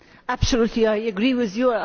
Absolutely, I agree with you.